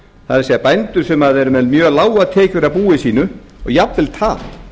það er bændur sem eru með mjög lágar tekjur af búi sínu og jafnvel tap